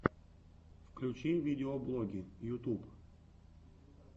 включи видеоблоги ютюб